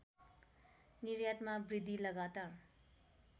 निर्यातमा वृद्धि लगातार